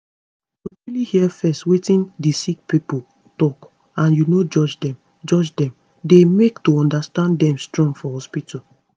to truly hear fezz wetin di sick pipo talk and u no judge dem judge dem dey make to understand dem strong for hospitol